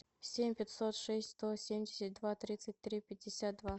семь пятьсот шесть сто семьдесят два тридцать три пятьдесят два